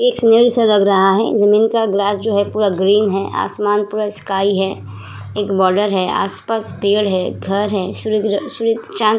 सा लग रहा है। जमीन का ग्लास जो पूरा ग्रीन है। आसमान पूरा स्काइ है। एक बार्डर है। आस पास पेड़ हैं। घर है। सूर्य चाँद--